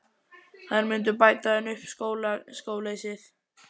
Þær myndu bæta henni upp skóleysið.